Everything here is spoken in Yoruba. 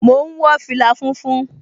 Mò ún wọ fìlà funfun